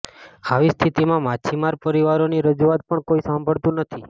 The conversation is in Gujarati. આવી સ્થિતિમાં માછીમાર પરિવારોની રજૂઆત પણ કોઈ સાંભળતું નથી